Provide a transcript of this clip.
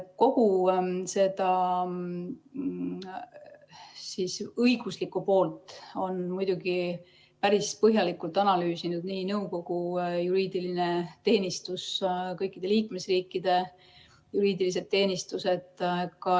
Kogu seda õiguslikku poolt on muidugi päris põhjalikult analüüsinud nõukogu juriidiline teenistus, kõikide liikmesriikide juriidilised teenistused.